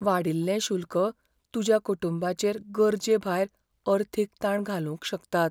वाडील्ले शुल्क तुज्या कुटुंबाचेर गरजे भायर अर्थीक ताण घालूंक शकतात.